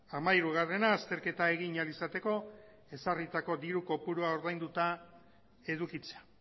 hamahirugarrena azterketa egin ahal izateko ezarritako diru kopurua ordainduta edukitzea